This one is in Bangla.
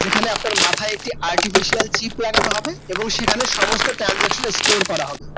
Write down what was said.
যেখানে আপনার মাথায় একটি artificial chip লাগানো হবে এবং সেখানে সমস্ত Transaction Store করা হবে